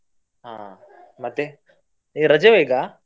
ಹಾ ಮತ್ತೆ, ಈಗ ರಜೆವ ಈಗ?